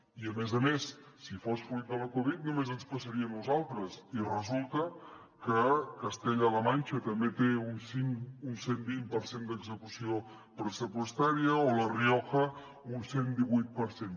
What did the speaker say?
i a més a més si fos fruit de la covid només ens passaria a nosaltres i resulta que castella la manxa també té un cent vint per cent d’execució pressupostària o la rioja un cent divuit per cent